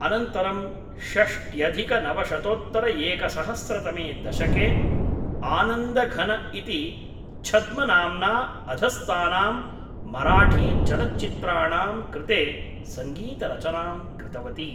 अनन्तरं षष्ट्यधिकनवशतोत्तरएकसहस्रतमे दशके आनन्दघन इति छद्मनाम्ना अधस्तानां मराठीचलच्चित्राणां कृते सङ्गीतरचनां कृतवती।